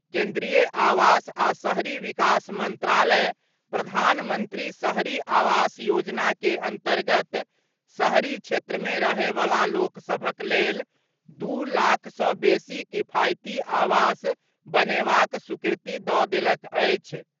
केंद्रीय आवास आ शहरी विकास मंत्रालय प्रधानमंत्री शहरी आवास योजना के अंतर्गत शहरी क्षेत्र मे रहयवला लोक सभक लेल दू लाख सँ बेसी किफायती आवास बनेबाक स्वीकृति दऽ देलक अछि।